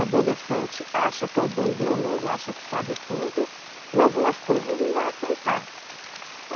Adolescente, acha que é o dono do mundo, acha que sabe tudo, e algumas coisas não vai aceitar.